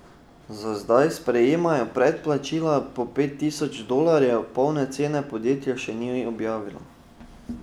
Za zdaj sprejemajo predplačila po pet tisoč dolarjev, polne cene podjetje še ni objavilo.